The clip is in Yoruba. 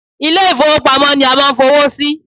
Ilé ìfọwọ́pamo ni a máà ń fowó sí.